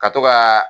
Ka to ka